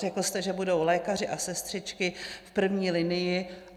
Řekl jste, že budou lékaři a sestřičky v první linii.